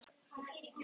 Lóa: Sem var?